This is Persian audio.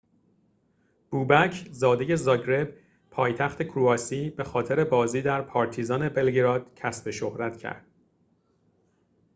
بوبک زاده زاگرب پایتخت کرواسی به خاطر بازی در پارتیزان بلگراد کسب شهرت کرد